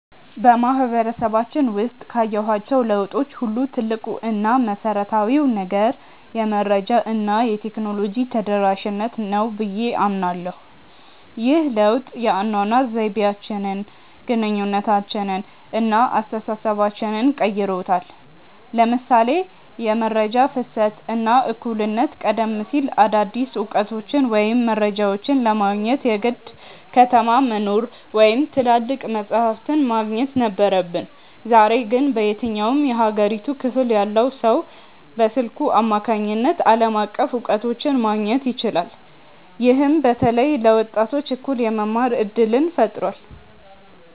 በማህበረሰባችን ውስጥ ካየኋቸው ለውጦች ሁሉ ትልቁ እና መሰረታዊው ነገር "የመረጃ እና የቴክኖሎጂ ተደራሽነት" ነው ብዬ አምናለሁ። ይህ ለውጥ የአኗኗር ዘይቤያችንን፣ ግንኙነታችንን እና አስተሳሰባችንን ቀይሮታል ለምሳሌ የመረጃ ፍሰት እና እኩልነት ቀደም ሲል አዳዲስ እውቀቶችን ወይም መረጃዎችን ለማግኘት የግድ ከተማ መኖር ወይም ትላልቅ መጻሕፍት ማግኘት ነበረብን። ዛሬ ግን በየትኛውም የሀገሪቱ ክፍል ያለ ሰው በስልኩ አማካኝነት ዓለም አቀፍ እውቀቶችን ማግኘት ይችላል። ይህም በተለይ ለወጣቶች እኩል የመማር እድልን ፈጥሯል።